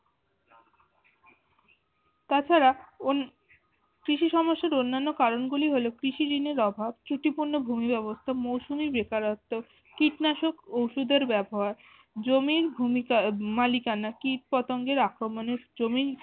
তাছাড়া অন কৃষি সমস্যার অন্যান্য কারন গুলি হলো কৃষি ঋণের অভাব, ত্রুটিপূর্ণ ভূমি ব্যবস্থা, মৌসুমী বেকারত্ব, কীটনাশক ওষুধের ব্যবহার জমির ভূমিকা মালিকানা কীটপতঙ্গের আক্রমনের জমির